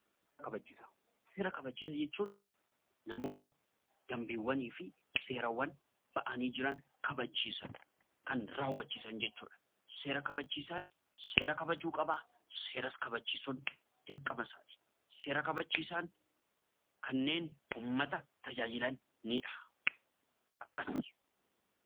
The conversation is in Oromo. Seera kabachiisaa. Seera kabachiisaa jechuun namoota dambiiwwanii fi seerota ba'anii jiran kabachiisan kan rawwachiisan. Seera kabachiisaan seera kabajuu qabaa, seeras kabachiisuu dirqama isaati. Seera kabachiisaan kanneen uummata tajaajilanidha.